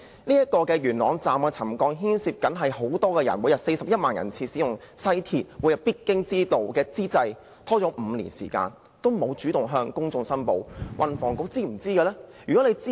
元朗站橋躉沉降牽涉很多乘客，因為每天有41萬人次使用西鐵，是他們每天必經之路，但當局拖延5年時間也沒有主動向公眾公布。